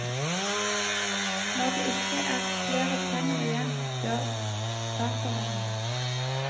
Når det ikke er flere tenner igjen, dør datavennen.